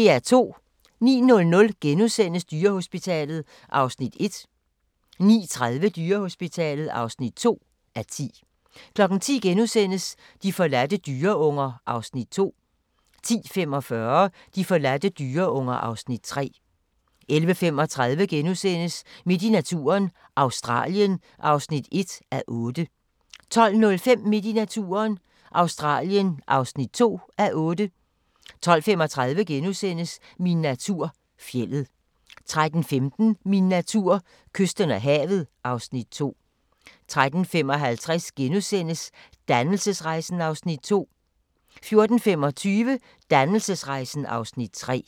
09:00: Dyrehospitalet (1:10)* 09:30: Dyrehospitalet (2:10) 10:00: De forladte dyreunger (Afs. 2)* 10:45: De forladte dyreunger (Afs. 3) 11:35: Midt i naturen – Australien (1:8)* 12:05: Midt i naturen – Australien (2:8) 12:35: Min natur - fjeldet * 13:15: Min natur: Kysten og havet (Afs. 2) 13:55: Dannelsesrejsen (Afs. 2)* 14:25: Dannelsesrejsen (Afs. 3)